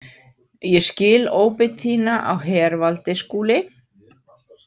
Ég skil óbeit þína á hervaldi, Skúli.